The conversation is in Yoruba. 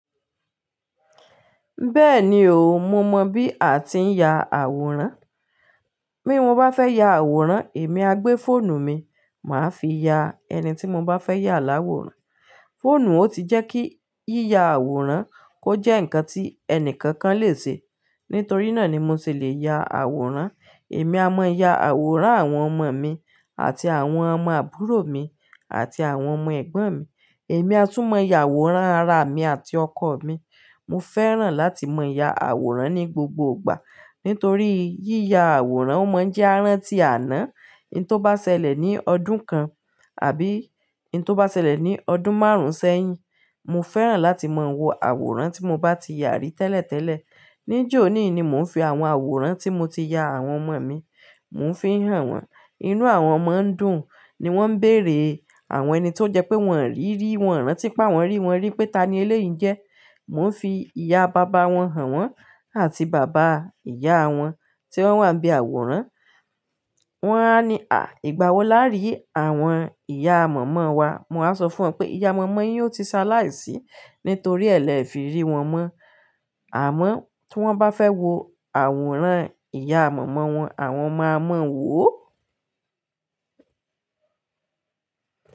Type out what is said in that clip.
Bẹ́ẹ̀ni o, mo mọ bí a ti ń ya àwòrán. Bí mo bá fẹ́ ya àwòrán, èmi á gbé fóònù mi, màá fi ya ẹni tí mo bá fẹ́ yà láwòrán. Fóònù ò ti jẹ́ kí yíya àwòrán kó jẹ́ ǹkan tí ẹni kankan lè ṣe. Nítorí náà ni mo sì le ya àwòrán. Èmi a mọ ya àwòrán àwọn ọmọ mi àti àwọn ọmọ àbúrò mi àti àwọn ọmọ ẹ̀gbọ́n mi. Èmi a tún mọ ya àwòrán ara mi àti ọkọ mi. Mo fẹ́ràn láti mọ ya àwòrán ní gbogbo ìgbà nítorí yíya àwòrán ó mọ ń jẹ́ à rántí àná, hin tó bá ṣẹlẹ̀ ní ọdún kan àbí hin tó bá ṣẹlẹ̀ ní ọdún márùn-ún sẹ́yìn. Mo fẹ́ràn láti mọ wo àwòrán tí mo bá ti ya rí tẹ́lẹ̀tẹ́lẹ̀. Ni jóó oòní ni mò ń fi àwọn àwòrán tí mo ti ya àwọn ọmọ mi, mò ń fi hàn wọ́n. Inú àwọn ọmọ ń dùn ni wọ́n ń beèrè àwọn ẹni tó jẹ pé wọ́n rí i rí, wọ́n rántí pe awọ́n rí wọn rí pé ta ni eléyìí n jẹ́. Mo ń fi ìyá bàbá wọn hàn wọ́n àti bàbá ìyá wọn tí wọ́n wà n bí àwòrán. Wọ́n á ní, "Àh! Ìgbà wó làa rí àwọn ìyá mọ̀mọ́ wa?" Mo wa sọ fún wọn pé ìyá mọ̀mọ́ yín ó ti ṣe aláìsí nítorí ẹ́ lẹ́ẹ̀ fi rí wọn mọ. Àmọ́ tí wọ́n bá fẹ́ wo àwòrán ìyá mọ̀mọ́ wọn, àwọn máa mọ wò ó.